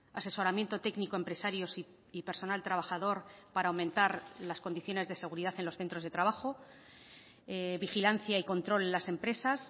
asesoramiento técnico empresarios y personal trabajador para aumentar las condiciones de seguridad en los centros de trabajo vigilancia y control en las empresas